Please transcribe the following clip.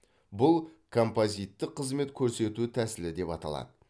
бұл композиттік қызмет көрсету тәсілі деп аталады